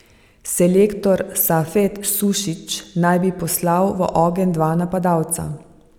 Selektor Safet Sušić naj bi poslal v ogenj dva napadalca.